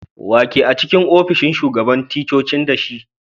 Wa ke a'cikin ofishin shugaban ticcoci da shi?